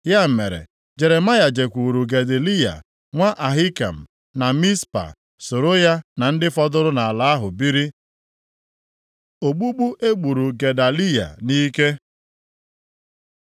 Ya mere, Jeremaya jekwuuru Gedaliya nwa Ahikam na Mizpa, soro ya na ndị fọdụrụ nʼala ahụ biri. Ogbugbu e gburu Gedaliya nʼike